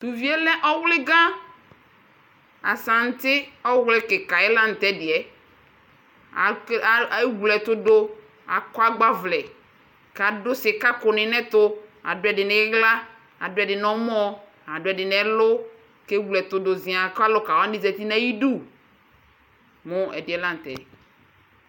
Tʋ uvi yɛ lɛ ɔvlɩga Asanti ɔvlɩ kɩka yɛ la tʋ ɛdɩ yɛ Akele ewle ɛtʋ dʋ Akɔ agbavlɛ kʋ adʋ sɩkakʋnɩ nʋ ɛtʋ, adʋ ɛdɩ nʋ ɩɣla, adʋ ɛdɩ nʋ ɔmɔ, adʋ ɛdɩ nʋ ɛlʋ kʋ ewle ɛtʋ dʋ zɩaa kʋ alʋka wanɩ zati nʋ ayidu mʋ ɛdɩ la nʋ tɛ